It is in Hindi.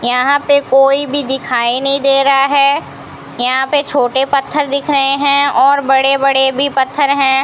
यहां पे कोई भी दिखाई नहीं दे रहा है यहां पे छोटे पत्थर दिख रहे हैं और बड़े बड़े भी पत्थर हैं।